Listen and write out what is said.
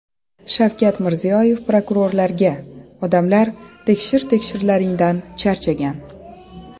Shavkat Mirziyoyev prokurorlarga: Odamlar tekshir-tekshirlaringdan charchagan .